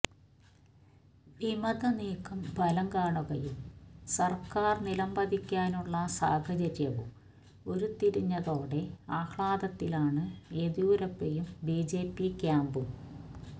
വിമത നീക്കം ഫലംകാണുകയും സർക്കാർ നിലംപതിക്കാനുള്ള സാഹചര്യവും ഉരുത്തിരിഞ്ഞതോടെ ആഹ്ലാദത്തിലാണ് യെദ്യൂരപ്പയും ബിജെപി ക്യാമ്പും